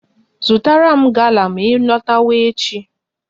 Zụtara m gala ma ị lọtaba echi!